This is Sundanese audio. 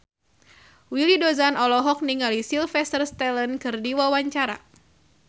Willy Dozan olohok ningali Sylvester Stallone keur diwawancara